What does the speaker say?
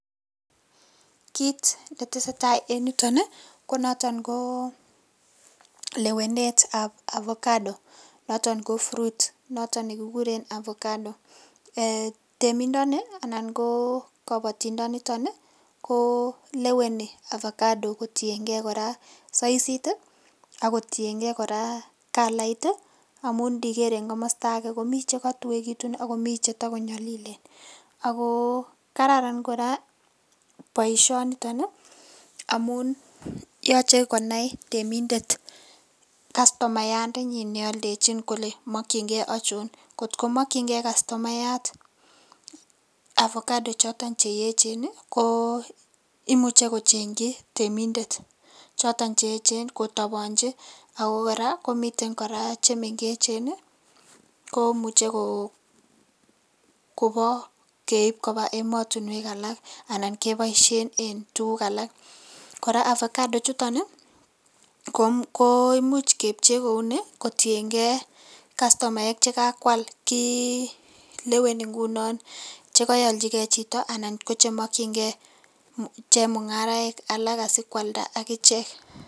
Kit ne tesetai en yutoon ii ko notoon ko lewenet ab avacado notoon ko Fruit notoon nekikuren ovacado eeh ,temindani anan ko kabatindaat nii ko leweni ovacado kotiengei saisiit ii ako kotienkei kora coloit ii amuun iniger en komosta agei komii che katuekituun ak che takonyalilen ako kararan kora boisioni nitoon amuun yachei konai temindet customayat nealdejiin kole makyingei achoon ngoot komakyigei customataat chotoon che eecheen ii imuche kochenyiin temindet chotoon che eecheen, kotabanjii ako kora komii che mengeechen ii komuchei koba keib kobaa ematinweek alaak anan kebaisheen en tuguuk alaak kora avacado chutoon ii ko imuuch kepchee kou nii ii ii ak customaek che kakwal kotienkei leweni ngunoo che keyalchi gei chitoo anan ko che makyinigei chemungaraek alaak asikoaldaa agicheek.